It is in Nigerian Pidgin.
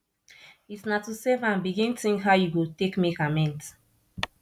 it na to safe am begin tink how yu go take make amends